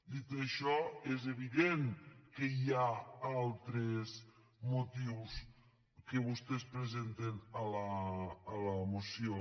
dit això és evident que hi ha altres motius que vostès presenten a la moció